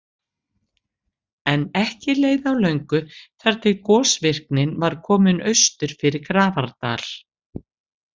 En ekki leið á löngu þar til gosvirknin var komin austur fyrir Grafardal.